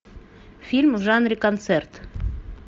фильм в жанре концерт